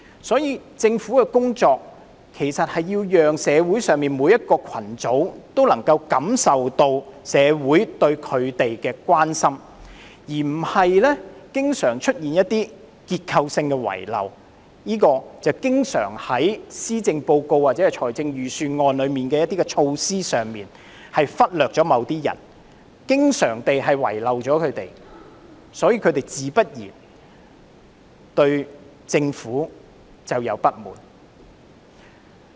所以，政府的工作要讓社會上每個群組也能感受到社會對他們的關心，而不是經常出現一些結構性的遺漏，正如在施政報告或財政預算案的措施中經常忽略或遺漏某些人，所以，他們自然對政府有所不滿。